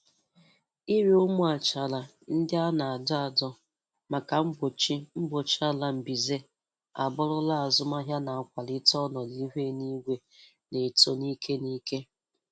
Ire ụmụ achara ndị a na-adọ adọ maka mgbochi mgbochi ala mbize abụrụla azụmahịa na-akwalite ọnọdụ ihu eluigwe na-eto ni'ike n'ike.